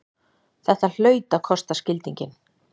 Þetta hlaut að kosta skildinginn!